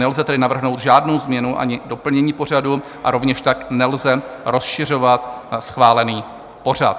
Nelze tedy navrhnout žádnou změnu ani doplnění pořadu a rovněž tak nelze rozšiřovat schválený pořad.